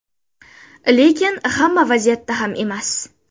Lekin hamma vaziyatda ham emas.